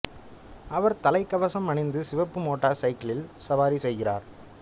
அவர் தலைக்கவசம் அணிந்து சிவப்பு மோட்டார் சைக்கிளில் சவாரி செய்கிறார்